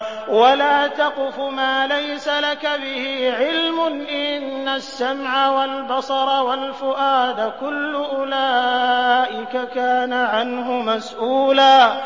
وَلَا تَقْفُ مَا لَيْسَ لَكَ بِهِ عِلْمٌ ۚ إِنَّ السَّمْعَ وَالْبَصَرَ وَالْفُؤَادَ كُلُّ أُولَٰئِكَ كَانَ عَنْهُ مَسْئُولًا